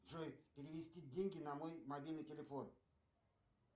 джой перевести деньги на мой мобильный телефон